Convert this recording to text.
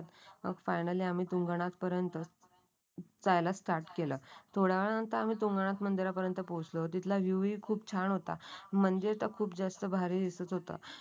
Finally आणि तुंगणा पर्यंत जायला English स्टार्ट केलं. थोड्या वेळा नंतर आम्ही तुंगनात मंदिरापर्यंत पोहोचलो होतो. तिथला व्ह्यू खूप छान होता. म्हणजे खूप जास्त भारी दिसत होता.